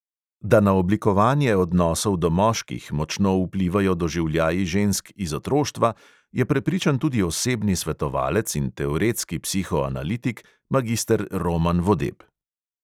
Da na oblikovanje odnosov do moških močno vplivajo doživljaji žensk iz otroštva, je prepričan tudi osebni svetovalec in teoretski psihoanalitik magister roman vodeb.